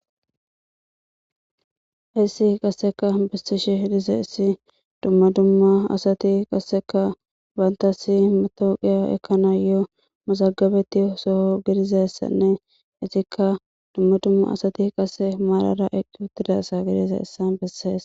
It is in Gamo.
Hayissi qaseeka besishshe dizayisi dumma dumma asati qassakka bantassi matawuqa ekayanno mazagabatogga besses.qassi marara eqqa asa beesses.